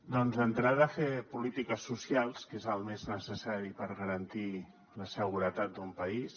doncs d’entrada fer polítiques socials que és el més necessari per garantir la seguretat d’un país